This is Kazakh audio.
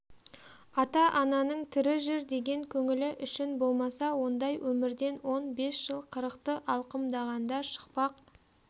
ата-ананың тірі жүр деген көңілі үшін болмаса ондай өмірден он бес жыл қырықты алқымдағанда шықпақ